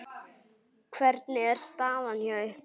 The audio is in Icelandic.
Hvernig er staðan hjá ykkur?